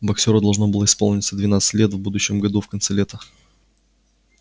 боксёру должно было исполниться двенадцать лет в будущем году в конце лета